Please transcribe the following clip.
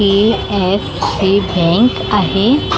AF हि bank आहे .